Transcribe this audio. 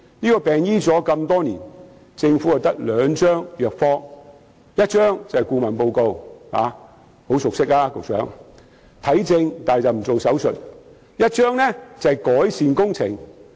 這個病已醫了那麼多年，政府只有兩張藥方：一張是顧問報告——局長對此很熟悉——猶如看症卻不做手術，而另一張是改善工程。